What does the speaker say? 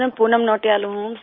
सिर मैं पूनम नौटियाल हूँ